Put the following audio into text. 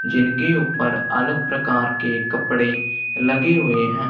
जिनके ऊपर अलग प्रकार के कपड़े लगे हुए हैं।